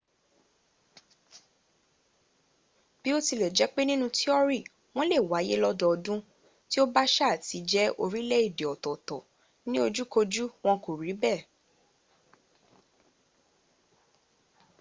bí ó tilẹ̀ jẹ́ pé nínú tíọ́rí wọ́n lè wáyé lọ́dọọdún tí ó bá ṣá à ti jẹ́ orílẹ̀ èdè ọ̀tọ̀ọ̀tọ̀ in ojúkoju wọn kò rí bẹ́ẹ